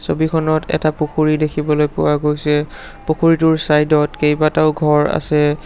ছবিখনত এটা পুখুৰী দেখিবলৈ পোৱা গৈছে পুখুৰীটোৰ চাইড ত কেইবাটাও ঘৰ আছে।